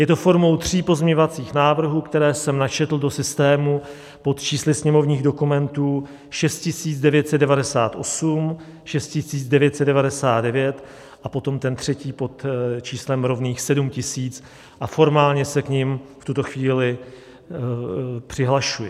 Je to formou tří pozměňovacích návrhů, které jsem načetl do systému pod čísly sněmovních dokumentů 6998, 6999 a potom ten třetí pod číslem rovných 7000 a formálně se k nim v tuto chvíli přihlašuji.